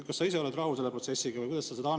Kas sa ise oled rahul selle protsessiga?